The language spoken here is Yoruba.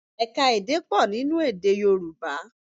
Ẹ̀ka-èdè pọ̀ nínú èdè Yorùbá